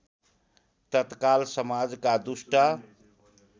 तत्काल समाजका दुष्ट